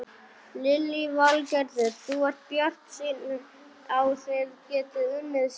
Lillý Valgerður: Þú ert bjartsýnn á þið getið unnið saman?